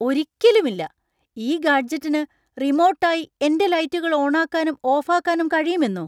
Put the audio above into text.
ഒരിക്കലുമില്ല ! ഈ ഗാഡ്ജെറ്റിന് റിമോട്ട് ആയി എന്‍റെ ലൈറ്റുകൾ ഓണാക്കാനും ഓഫാക്കാനും കഴിയുമെന്നൊ ?